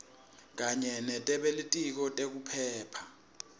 kanye nebelitiko letekuphepha